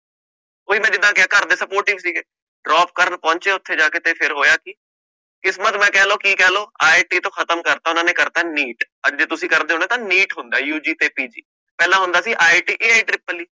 ਬਈ ਮੈਂ ਜਿੰਦਾ ਕਿਹਾ ਘਰ ਦੇ supportive ਸੀਗੇ drop ਕਰਨ ਪਹੋਨੱਚੇ ਓਥੇ ਜਾ ਕੇ ਫਿਰ ਹੋਇਆ ਕਿ ਕਿਸਮਤ ਕਹ ਲੋ ਕਿ ਕਹਿਲੋ IIT ਤੋਂ ਖਤਮ ਕਰਤਾ ਓਹਨਾ ਨੇ ਕਰਤਾ NIET ਅੱਜ ਜੇ ਤੁਸੀਂ ਕਰਦੇ ਹੋ ਨਾ ਤਾ NIET ਹੁੰਦਾ UG ਤੇ ਪੀਜੀ ਪਹਿਲਾ ਹੁੰਦਾ ਸੀ